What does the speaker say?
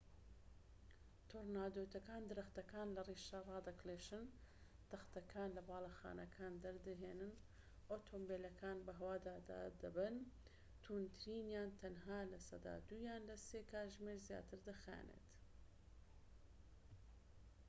تۆرنادۆکان درەختەکان لە ڕیشە هەڵدەکێشن تەختەکان لە باڵەخانەکان دەردەهێنن و ئۆتۆمبێلەکان بە هەوا دادەبەن توندترینیان تەنها لە سەدا دوویان لە سێ کاتژمێر زیاتر دەخایەنن